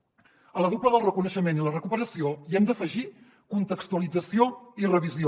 a la dupla del reconeixement i la recuperació hi hem d’afegir contextualització i revisió